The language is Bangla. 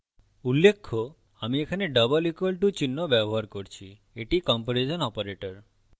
উল্লেখ্য আমি এখানে double equal to চিহ্ন ব্যবহার করছি এটি তুলনা কম্পেরিজন operator